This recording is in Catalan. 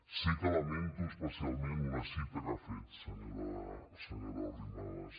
sí que lamento especialment una cita que ha fet senyora arrimadas